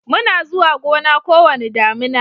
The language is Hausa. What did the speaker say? muna zuwa Gona ko wani damina